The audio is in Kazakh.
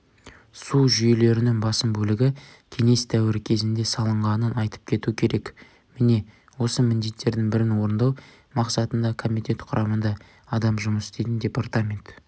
су жүйелерінің басым бөлігі кеңес дәуірі кезінде салынғанын айтып кету керек міне осы міндеттердің бірін орындау мақсатында комитет құрамында адам жұмыс істейтін департамент